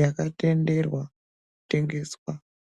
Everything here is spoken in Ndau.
wakatenderwa kutengeswa.